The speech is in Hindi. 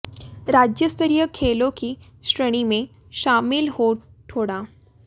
राज्य स्तरीय खेलों की श्रेणी में शामिल हो ठोडा